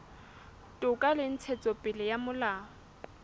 toka le ntshetsopele ya molao